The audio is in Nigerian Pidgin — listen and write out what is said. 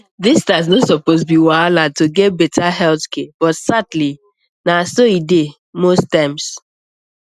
distance no suppose be wahala to get better health care but sadly na so e dey most times